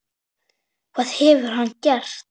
Hvað hefur hann gert?